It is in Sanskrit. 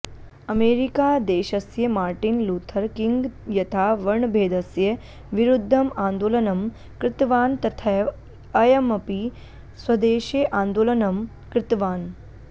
अमेरिकादेशस्य मार्टिन् लूथर् किङ्ग् यथा वर्णभेदस्य विरुद्धम् आन्दोलनं कृतवान् तथैव अयमपि स्वदेशे आन्दोलनं कृतवान्